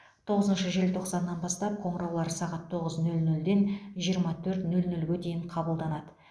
тоғызыншы желтоқсаннан бастап қоңыраулар сағат тоғыз нөл нөлден жиырма төрт нөл нөлге дейін қабылданады